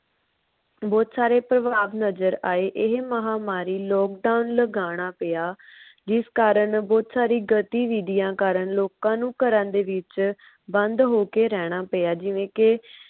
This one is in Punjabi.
ਬਹੁਤ ਸਾਰੇ ਨਜਰ ਆਏ ਇਹ ਮਹਾਮਾਰੀ lockdown ਲਗਾਨਾ ਪਿਆ। ਜਿਸ ਕਾਰਨ ਬੋਹਤ ਸਾਰੀ ਗਤੀਵਿਦਿਆਂ ਕਾਰਨ ਲੋਕਾਂ ਨੂੰ ਘਰਾਂ ਦੇ ਵਿੱਚ ਬੰਦ ਹੋ ਕੇ ਰਹਿਣਾ ਪਿਆ। ਜਿਵੇ ਕੇ